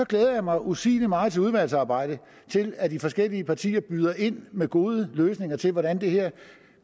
glæder mig usigelig meget til udvalgsarbejdet og til at de forskellige partier byder ind med gode løsninger til hvordan det her